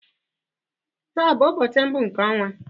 Taa ọ bụ ụbọchị mbụ nke ọnwa?